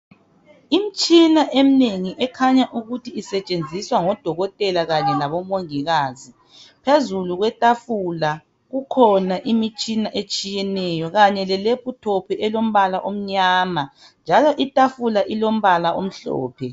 Imtshina eminengi ekhanya ukuthi isetshenziswa ngodokotela Kanye labomongikazi. Phezulu kwetafula kukhona imitshina etshiyeneyo kanye le laptop elombala omnyama njalo itafula ilombala omhlophe.